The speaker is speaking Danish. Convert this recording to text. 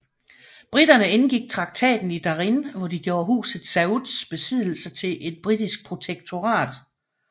Briterne indgik traktaten i Darin hvor de gjorde huset Sauds besiddelser til et britisk protektorat